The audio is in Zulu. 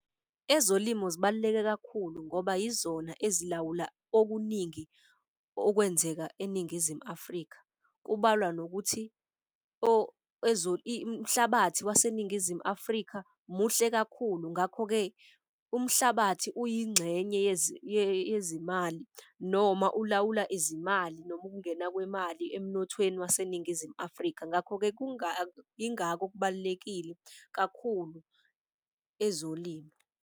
Ezolimo zibaluleke kakhulu ngoba yizona ezilawula okuningi okwenzeka eNingizimu Afrika. Kubalwa nokuthi umhlabathi waseNingizimu Afrika muhle kakhulu, ngakho-ke umhlabathi uyingxenye yezimali noma ulawula izimali, noma ukungena kwemali emnothweni waseNingizimu Afrika. Ngakho-ke, ingako kubalulekile kakhulu ezolimo.